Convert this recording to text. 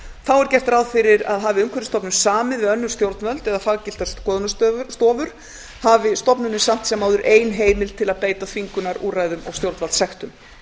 þá er gert ráð fyrir að hafi umhverfisstofnun samið við önnur stjórnvöld eða faggiltar skoðunarstofur hafi stofnunin samt sem áður ein heimild til að beita þvingunarúrræðum og stjórnvaldssektum